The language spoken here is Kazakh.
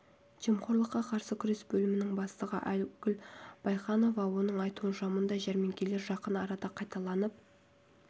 жемқорлыққа қарсы күрес бөлімінің бастығы айгүл байханова оның айтуынша мұндай жәрмеңкелер жақын арада қайталанып